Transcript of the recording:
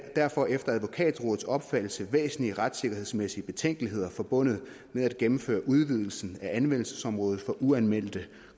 derfor efter advokatrådets opfattelse væsentlige retssikkerhedsmæssige betænkeligheder forbundet med at gennemføre udvidelsen af anvendelsesområdet for uanmeldte